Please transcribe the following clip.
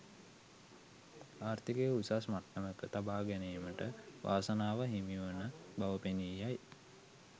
ආර්ථිකය උසස් මට්ටමක තබා ගැනීමට වාසනාව හිමිවන බව පෙනී යයි.